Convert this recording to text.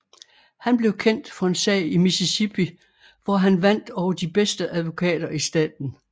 Han blev kendt for en sag i Mississippi hvor han vandt over de bedste advokater i staten